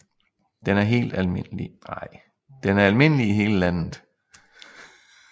Den er almindelig i hele landet